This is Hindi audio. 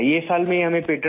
ये साल में हमें पेटेंट